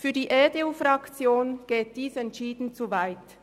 Für die EDU-Fraktion geht dies entschieden zu weit.